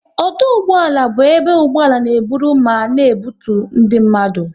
Ọdụ ụgbọala bụ ebe ụgbọala n'eburu ma na ebutu ndị mmadụ